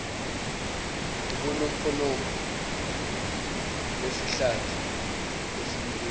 ubunofonofo besihlathi esisulekile